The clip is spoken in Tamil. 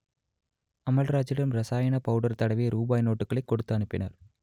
அமல்ராஜிடம் ரசாயன பவுடர் தடவிய ரூபாய் நோட்டுகளை கொடுத்து அனுப்பினர்